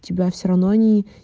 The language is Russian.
тебя все равно онии